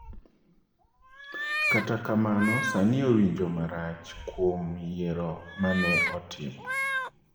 Kata kamano, sani owinjo marach kuom yiero ma ne otimo.